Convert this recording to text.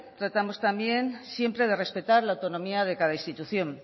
tratamos también siempre de respetar la autonomía de cada institución